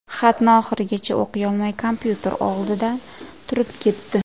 Xatni oxirigacha o‘qiyolmay kompyuter olidan turib ketdi.